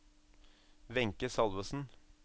Wenche Salvesen